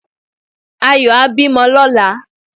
Ayọ̀ á bímọ lóla